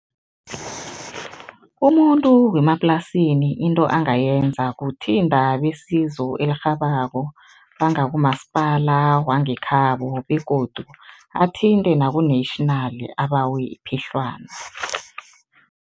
Umuntu wemaplasini into angayenza kuthinta besizo elirhabako, bangakumasipala wangekhabo begodu athinte naku-national abawe iphehlwana.